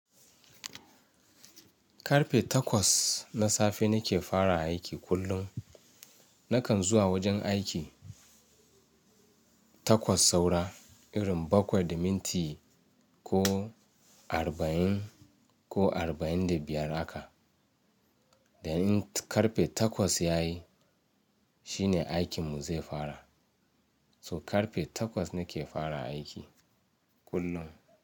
Karfe takwas na safe nake fara aiki kullum. Nakan zuwa wajen aiki takwas saura irin bakwai da minti ko arba'in ko arba'in da biyar haka. Da in karfe takwas yayi shine aikin mu zai fara. So karfe takwas nake fara aiki kullum.